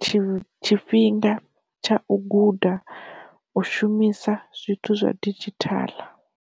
tshi tshifhinga tsha u guda u shumisa zwithu zwa didzhithala.